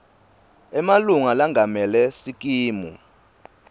emalunga lengamele sikimu